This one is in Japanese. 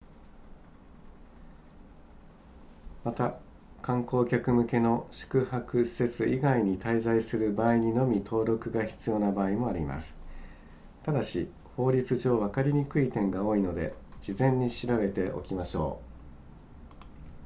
また観光客向けの宿泊施設以外に滞在する場合にのみ登録が必要な場合もありますただし法律上わかりにくい点が多いので事前に調べておきましょう